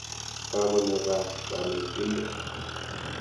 Kakonyo kaa kanetindet.